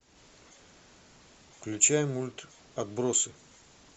включай мульт отбросы